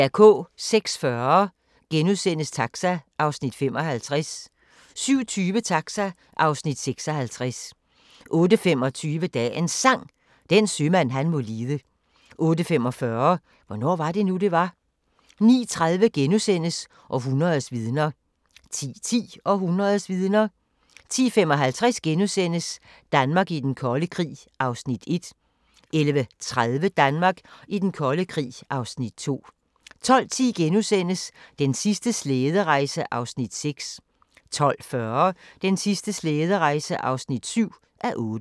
06:40: Taxa (Afs. 55)* 07:20: Taxa (Afs. 56) 08:25: Dagens Sang: Den sømand han må lide 08:45: Hvornår var det nu, det var? 09:30: Århundredets vidner * 10:10: Århundredets vidner 10:55: Danmark i den kolde krig (Afs. 1)* 11:30: Danmark i den kolde krig (Afs. 2) 12:10: Den sidste slæderejse (6:8)* 12:40: Den sidste slæderejse (7:8)